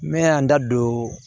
N bɛ na n da don